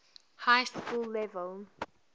high school level